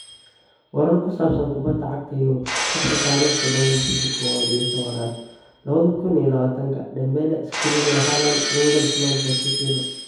Warar ku saabsan Kubada Cagta Yurub Sabti tarikh dodobo bishi kow iyo towanad lawadha kun iyo lawatanka: Dembele, Skriniar, Haaland, Nagelsmann, Pochettino